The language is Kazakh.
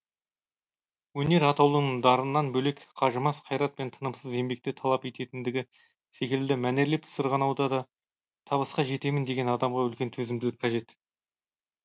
өнер атаулының дарыннан бөлек қажымас қайрат пен тынымсыз еңбекті талап ететіндігі секілді мәнерлеп сырғанауда да табысқа жетемін деген адамға үлкен төзімділік қажет